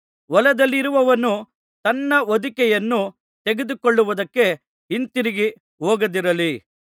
ಹೊಲದಲ್ಲಿರುವವನು ತನ್ನ ಹೊದಿಕೆಯನ್ನು ತೆಗೆದುಕೊಳ್ಳುವುದಕ್ಕೆ ಹಿಂದಿರುಗಿ ಹೋಗದಿರಲಿ